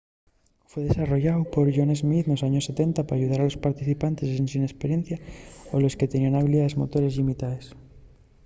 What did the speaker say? fue desarrolláu por john smith nos años 70 p’ayudar a los practicantes ensin esperiencia o a los que teníen habilidaes motores llimitaes